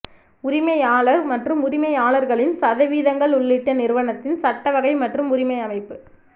உரிமையாளர் மற்றும் உரிமையாளர்களின் சதவீதங்கள் உள்ளிட்ட நிறுவனத்தின் சட்ட வகை மற்றும் உரிமை அமைப்பு